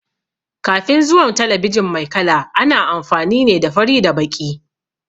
Kafin zuwan talabijin mai kala, ana amfani ne da fari da baƙi.